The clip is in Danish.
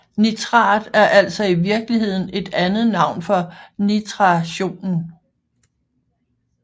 Nitrat er altså i virkeligheden et andet navn for nitrationen